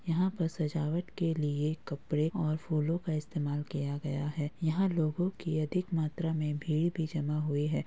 यहाँ पर सजावट के लिए कपड़े और फूलो का इस्तेमाल किया गया है यहाँ लोगो की अधिक मात्रा में भीड़ भी जमा हुई है।